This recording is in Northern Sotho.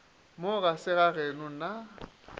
mo ga se gageno na